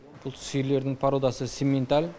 бұл сиырлердің пародасы симменталь